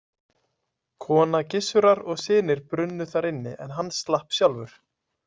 Kona Gissurar og synir brunnu þar inni en hann slapp sjálfur.